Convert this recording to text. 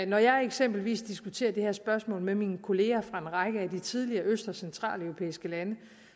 når jeg eksempelvis diskuterer det her spørgsmål med mine kollegaer fra en række af de tidligere øst og centraleuropæiske lande